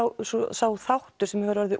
sá þáttur sem hefur orðið